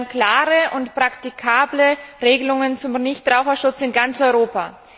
Wir wollen klare und praktikable Regelungen zum Nichtraucherschutz in ganz Europa.